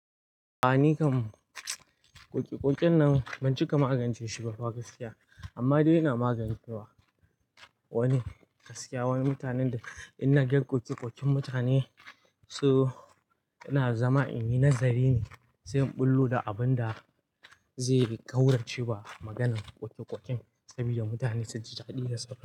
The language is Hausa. A'a, ni kam ƙoƙeƙoƙen nan ban cika magance shi ba fa gaskiya, amma dai ina magance wa wasu gaskiya. Wani mutanen ina ganin koke-koke mutane so ina zama, in yi nazari ne, sai in bullo da abin da zai ƙaurace wa maganan koke-koken saboda mutane su ji daɗi da sauraro.